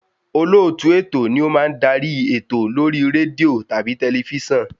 Olóòtú ètò ni o má ń darí ètò lórí rédíò tàbí tẹlifísàn